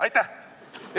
Aitäh!